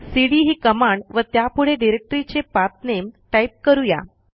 CD ही command व त्यापुढे डिरेक्टरीचे पाठ नामे टाईप करू या